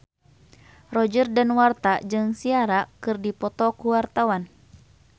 Roger Danuarta jeung Ciara keur dipoto ku wartawan